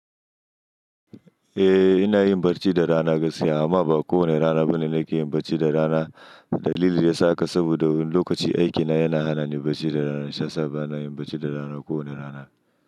Eh ina yin barci da rana gaskiya amma ba kowane rana bane nake yin barci da rana. Dalili da ya sa haka saboda wani lokaci aikina yana hana ni barci da rana shiyasa bana yin barci da rana kowane rana.